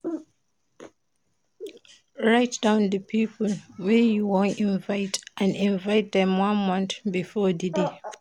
Write down di pipo wey you won invite and invite dem one month before di day